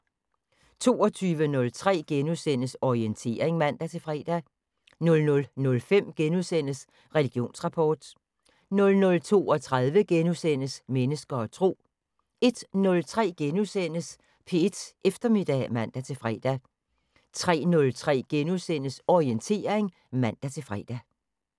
22:03: Orientering *(man-fre) 00:05: Religionsrapport * 00:32: Mennesker og Tro * 01:03: P1 Eftermiddag *(man-fre) 03:03: Orientering *(man-fre)